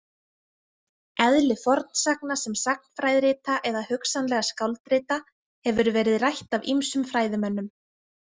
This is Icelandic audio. Eðli fornsagna sem sagnfræðirita eða hugsanlega skáldrita hefur verið rætt af ýmsum fræðimönnum.